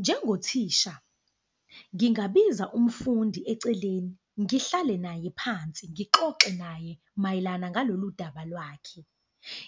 Njengothisha ngingabiza umfundi eceleni, ngihlale naye phansi, ngixoxe naye mayelana ngalolu daba lwakhe.